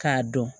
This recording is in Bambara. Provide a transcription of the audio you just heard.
K'a dɔn